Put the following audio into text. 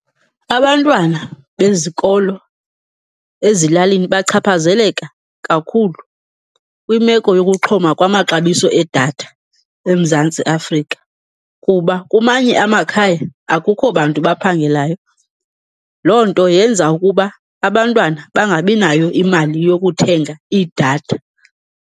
Abantwana bezikolo ezilalini bachaphazeleka kakhulu kwimeko yokuxhoma kwamaxabiso edatha eMzantsi Afrika. Kuba kumanye amakhaya akukho bantu baphangelayo, loo nto yenza ukuba abantwana bangabinayo imali yokuthenga idatha.